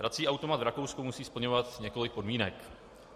Hrací automat v Rakousku musí splňovat několik podmínek.